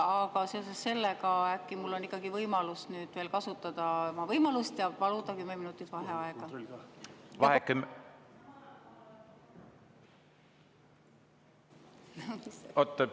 Aga seoses sellega: äkki mul on ikkagi võimalus kasutada võimalust ja paluda kümme minutit vaheaega?